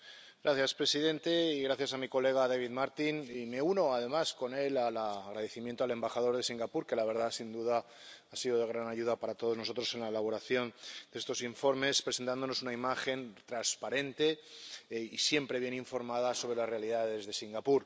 Señor presidente, gracias a mi colega, David Martin, y me uno además con él al agradecimiento al embajador de Singapur, que sin duda ha sido de gran ayuda para todos nosotros en la elaboración de estos informes, presentándonos una imagen transparente y siempre bien informada sobre las realidades de Singapur.